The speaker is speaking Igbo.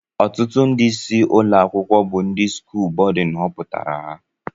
ọtụtụ ndị ịsị ụlọ akwụkwọ bu ndị skụl bódú hoputara ha